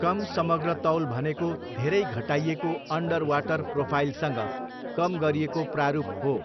कम समग्र तौल भनेको धेरै घटाइएको अन्डरवाटर प्रोफाइलसँग कम गरिएको प्रारूप हो।